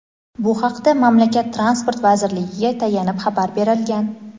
Bu haqda mamlakat Transport vazirligiga tayanib xabar berilgan.